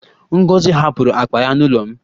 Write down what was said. Ngozi hapụrụ akpa ya n'ụlọ m